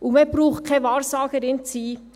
Und man muss keine Wahrsagerin sein: